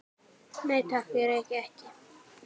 Nei, takk, ég reyki ekki